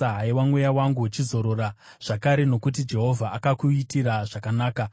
Haiwa mweya wangu, chizorora zvakare, nokuti Jehovha akakuitira zvakanaka.